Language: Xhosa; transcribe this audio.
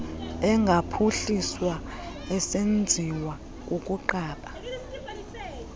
engaphuhliswa esenziwa kukunqaba